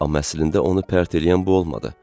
Amma əslində onu pərt eləyən bu olmadı.